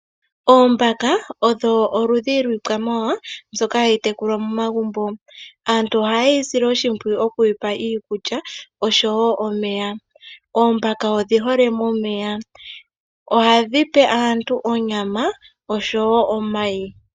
Oombaka odho oludhi lwikwamawawa mbyoka hayi tekulwa momagumbo. Aantu ohayi sile oshimpwiyu okuyipa iikulya oshowo omeya. Oombaka odhi hole momeya. Ohadhi pe aantu onyama oshowo omayi.